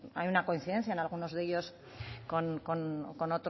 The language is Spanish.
hay una coincidencia en algunos de ellos con